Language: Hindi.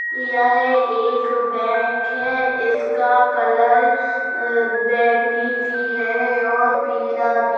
यह एक बैंक है इसका कलर बैंगनी भी है और पीला भी है।